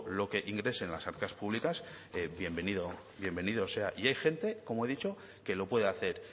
lo que ingrese en las arcas públicas bienvenido sea y hay gente como he dicho que lo puede hacer